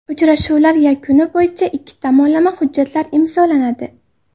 Uchrashuvlar yakuni bo‘yicha ikki tomonlama hujjatlar imzolanadi.